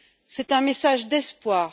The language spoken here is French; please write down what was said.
C'est un message d'espoir.